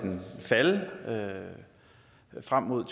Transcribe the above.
falde frem mod